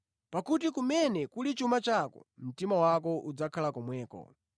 Pakuti kumene kuli chuma chako, mtima wako udzakhala komweko.